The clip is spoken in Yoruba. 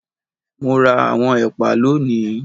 Mo ra àwọn ẹ̀pà lónìí